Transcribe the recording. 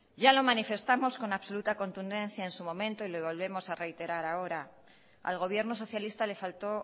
ya lo manifestamos con absoluto contundencia en su momento y lo volvemos a reiterar ahora al gobierno socialista le faltó